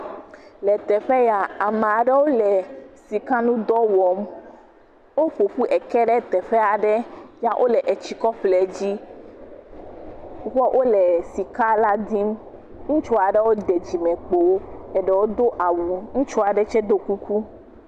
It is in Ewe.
Le teƒe ya, ame aɖewo le sika ŋu dɔ wɔm, woƒoƒu eke ɖe teƒe aɖe ya wole etsi kɔ ƒo ɖe dzi, wole esika la dim, ŋutsu aɖewo ɖe dzimekpo, eɖewo do awu, ŋutsu aɖe tsɛ ɖɔ kuku.